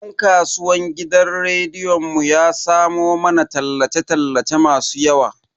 Dan kasuwan gidan rediyon mu ya samo mana tallace tallace masu yawa.